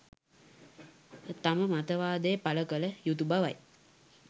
තම මතවාදය පළ කළ යුතු බවයි